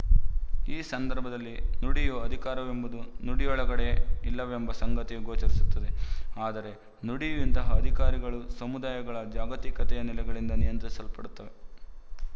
ಈ ಸಂದರ್ಭದಲ್ಲಿ ನುಡಿಯ ಅಧಿಕಾರವೆಂಬುದು ನುಡಿಯೊಳಗಡೆ ಇಲ್ಲವೆಂಬ ಸಂಗತಿಯು ಗೋಚರಿಸುತ್ತದೆ ಆದರೆ ನುಡಿಯ ಇಂತಹ ಅಧಿಕಾರವು ಸಮುದಾಯಗಳ ಸಾಮಾಜಿಕತೆಯ ನೆಲೆಗಳಿಂದ ನಿಯಂತ್ರಿಸಲ್ಪಡುತ್ತವೆ